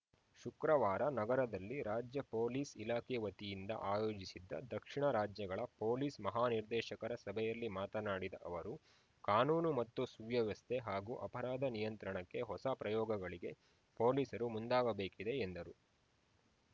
ಶುಕ್ರವಾರ ನಗರದಲ್ಲಿ ರಾಜ್ಯ ಪೊಲೀಸ್‌ ಇಲಾಖೆ ವತಿಯಿಂದ ಆಯೋಜಿಸಿದ್ದ ದಕ್ಷಿಣ ರಾಜ್ಯಗಳ ಪೊಲೀಸ್‌ ಮಹಾನಿರ್ದೇಶಕರ ಸಭೆಯಲ್ಲಿ ಮಾತನಾಡಿದ ಅವರು ಕಾನೂನು ಮತ್ತು ಸುವ್ಯವಸ್ಥೆ ಹಾಗೂ ಅಪರಾಧ ನಿಯಂತ್ರಣಕ್ಕೆ ಹೊಸ ಪ್ರಯೋಗಗಳಿಗೆ ಪೊಲೀಸರು ಮುಂದಾಗಬೇಕಿದೆ ಎಂದರು